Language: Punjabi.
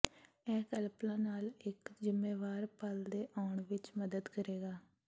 ਇਹ ਕਲਪਨਾ ਨਾਲ ਇੱਕ ਜ਼ਿੰਮੇਵਾਰ ਪਲ ਦੇ ਆਉਣ ਵਿੱਚ ਮਦਦ ਕਰੇਗਾ